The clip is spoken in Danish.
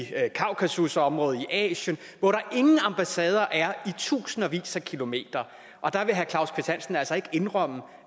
kaukasusområdet i asien hvor der ingen ambassader er i tusindvis af kilometer vil herre claus kvist hansen altså ikke indrømme